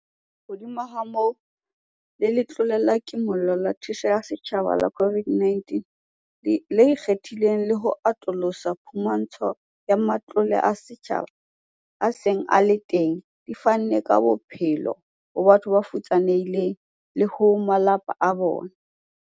Hodimo ha moo, le Letlole la Kimollo la Thuso ya Setjhaba la COVID-19 le ikgethileng le ho atolosa phumantsho ya matlole a setjhaba a seng a le teng di fanne ka bophelo ho batho ba futsanehileng le ho malapa a bona.